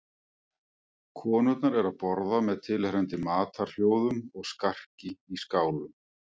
Konurnar eru að borða með tilheyrandi matarhljóðum og skarki í skálum.